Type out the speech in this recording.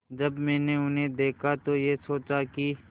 जब मैंने उन्हें देखा तो ये सोचा कि